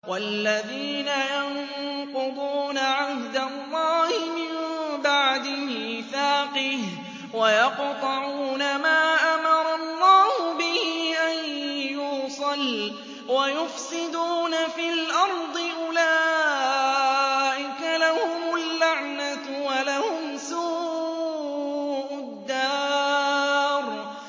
وَالَّذِينَ يَنقُضُونَ عَهْدَ اللَّهِ مِن بَعْدِ مِيثَاقِهِ وَيَقْطَعُونَ مَا أَمَرَ اللَّهُ بِهِ أَن يُوصَلَ وَيُفْسِدُونَ فِي الْأَرْضِ ۙ أُولَٰئِكَ لَهُمُ اللَّعْنَةُ وَلَهُمْ سُوءُ الدَّارِ